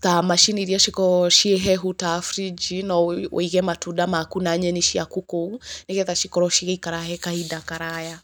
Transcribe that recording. ta macini iria cikoragwo ciĩ hehu ta fridge no wĩige matunda maku na nyeni ciaku kũu, nĩgetha cikorwo cigĩikara kahinda karaya.